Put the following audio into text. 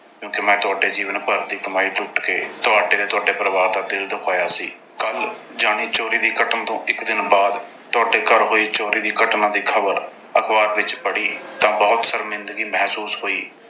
ਕਿਉਂ ਕਿ ਮੈਂ ਤੁਹਾਡੇ ਜੀਵਨ ਭਰ ਦੀ ਕਮਾਈ ਲੁੱਟ ਕੇ ਤੁਹਾਡੇ ਤੇ ਤੁਹਾਡੇ ਪਰਿਵਾਰ ਦਾ ਦਿਲ ਦੁਖਾਇਆ ਸੀ। ਕੱਲ੍ਹ ਯਾਨੀ ਚੋਰੀ ਦੀ ਘਟਨਾ ਤੋਂ ਇੱਕ ਦਿਨ ਬਾਅਦ ਤੁਹਾਡੇ ਘਰ ਹੋਈ ਚੋਰੀ ਦੀ ਘਟਨਾ ਦੀ ਖਬਰ ਅਖਬਾਰ ਵਿੱਚ ਪੜ੍ਹੀ ਤਾਂ ਬਹੁਤ ਸ਼ਰਮਿੰਦਗੀ ਮਹਿਸੂਸ ਹੋਈ।